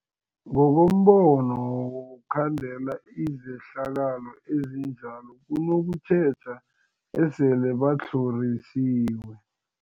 Ngokombono wokhandela izehlakalo ezinjalo kunokutjheja esele batlhorisiwe.